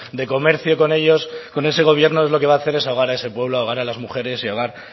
de comercio con ellos con ese gobierno lo que va a hacer es ahogar a ese pueblo ahogar a las mujeres y ahogar